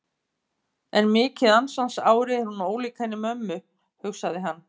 En mikið ansans ári er hún ólík henni mömmu, hugsaði hann.